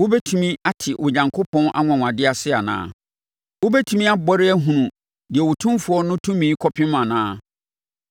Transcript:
“Wobɛtumi ate Onyankopɔn anwanwadeɛ ase anaa? Wobɛtumi abɔre ahunu deɛ Otumfoɔ no tumi kɔpem anaa?